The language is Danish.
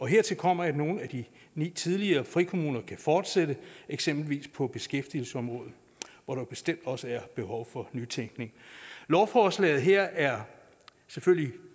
hertil kommer at nogle af de ni tidligere frikommuner kan fortsætte eksempelvis på beskæftigelsesområdet hvor der bestemt også er behov for nytænkning lovforslaget her er selvfølgelig